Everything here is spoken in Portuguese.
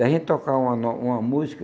Daí a gente tocava uma no uma música,